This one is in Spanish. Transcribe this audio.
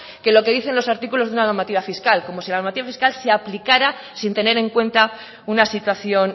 que lo que dicen los artículos de una normativa fiscal como si la normativa fiscal se aplicara sin tener en cuenta una situación